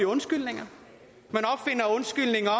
undskyldninger